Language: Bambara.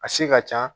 A se ka can